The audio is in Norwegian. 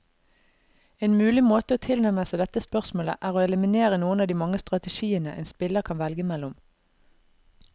En mulig måte å tilnærme seg dette spørsmålet, er å eliminere noen av de mange strategiene en spiller kan velge mellom.